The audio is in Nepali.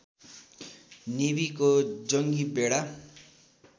नेवीको जङ्गी बेडा